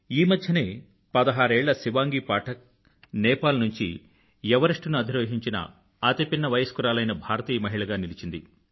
ఈమధ్యనే పదహారేళ్ళ శివాంగీ పాఠక్ నేపాల్ నుండి ఎవరెస్ట్ ని అధిరోహించిన అతిపిన్న వయస్కురాలైన భారతీయ మహిళగా నిలిచింది